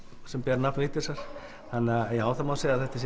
sem ber nafn Vigdísar þannig að já það má segja að þetta